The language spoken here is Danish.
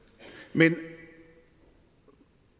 men